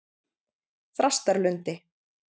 Þrastarlundi